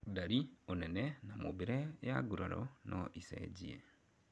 Ndari, ũnene na mũmbĩre ya nguraro no ĩcenjie